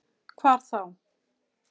Hvar þá?